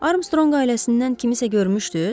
Armstronq ailəsindən kimisə görmüşdüz?